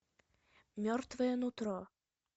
мертвое нутро